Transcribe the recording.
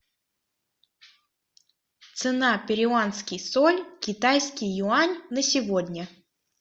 цена перуанский соль китайский юань на сегодня